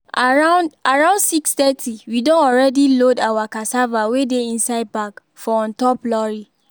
around around six thirty we don already load our cassava wey dey inside bag for on top lorry